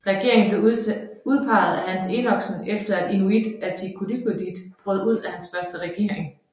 Regeringen blev udpeget af Hans Enoksen efter at Inuit Ataqatigiit brød ud af hans første regering